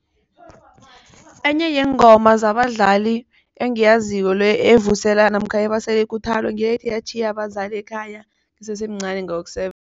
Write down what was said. Enye yeengoma zabadlali engiyaziko le evusela namkha ebasela ikuthalo ngethi ngatjhiya abazali ekhaya ngisesemncani